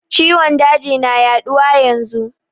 Ciwon daji na yaɗuwa yanzu